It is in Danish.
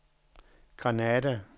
Granada